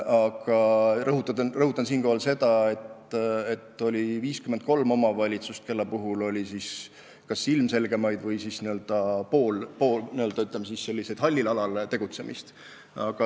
Praegu ma rõhutan, et oli 53 omavalitsust, kelle puhul me tuvastasime kas ilmselgeid rikkumisi või siis n-ö hallil alal tegutsemist.